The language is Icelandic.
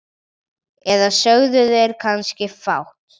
Eða sögðu þeir kannski fátt?